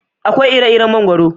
Akwai ire-iren mangoro.